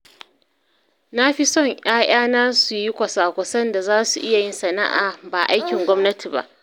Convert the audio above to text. Na fi son ‘ya’yana su yi kwasa-kwasan da za su iya yin sana’a, ba aikin gwamnati ba.